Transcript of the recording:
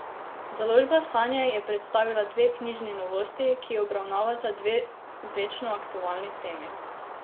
Založba Sanje je predstavila dve knjižni novosti, ki obravnavata dve večno aktualni temi.